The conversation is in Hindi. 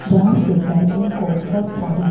जहां से बेडरूम को बहुत सारी--